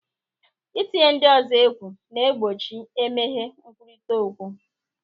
Ị tinye ndị ọzọ egwu na-egbochi emeghe nkwurịta okwu.